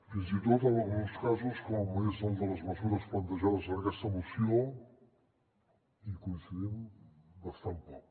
fins i tot en alguns casos com és el de les mesures plantejades en aquesta moció hi coincidim bastant poc